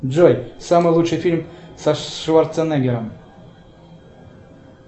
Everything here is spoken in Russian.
джой самый лучший фильм со шварценеггером